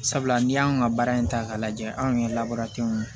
Sabula ni y'an ka baara in ta k'a lajɛ anw yɛrɛ labɔra ten